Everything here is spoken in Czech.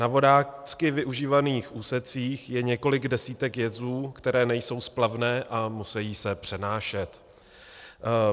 Na vodácky využívaných úsecích je několik desítek jezů, které nejsou splavné a musejí se přenášet.